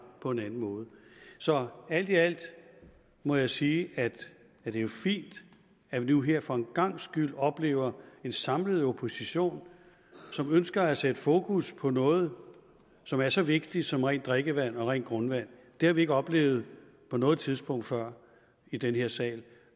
på en anden måde så alt i alt må jeg sige at det er fint at vi nu her for en gangs skyld oplever en samlet opposition som ønsker at sætte fokus på noget som er så vigtigt som rent drikkevand og rent grundvand det har vi ikke oplevet på noget tidspunkt før i den her sag